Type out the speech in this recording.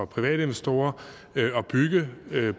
private investorer at bygge